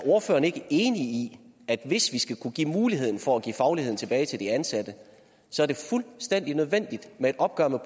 ordføreren ikke er enig i at det hvis vi skal kunne give muligheden for at give fagligheden tilbage til de ansatte er fuldstændig nødvendigt med et opgør med